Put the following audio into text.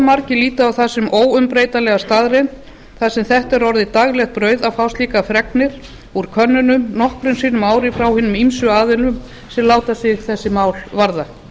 margir líta á það sem óumbreytanlega staðreynd þar sem þetta er orðið daglegt brauð að fá slíkar fregnir úr könnunum nokkrum sinnum á ári frá hinum rúmu aðilum sem láta sig þessi mál varða